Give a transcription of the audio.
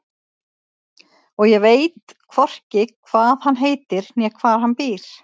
Og ég veit hvorki hvað hann heitir né hvar hann býr.